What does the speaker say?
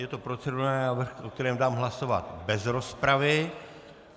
Je to procedurální návrh, o kterém dám hlasovat bez rozpravy.